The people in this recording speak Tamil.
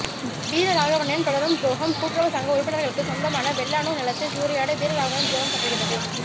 வீரராகவனின் தொடரும் துரோகம் கூட்டுறவு சங்க உறுப்பினர்களுக்கு சொந்தமான வெள்ளானூர் நிலத்தை சூறையாட வீரராகவனின் துரோகம் தொடர்கிறது